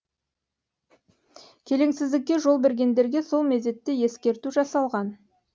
келеңсіздікке жол бергендерге сол мезетте ескерту жасалған